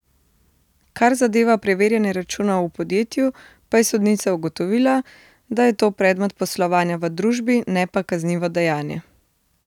Kar zadeva preverjanje računov v podjetju pa je sodnica ugotovila, da je to predmet poslovanja v družbi, ne pa kaznivo dejanje.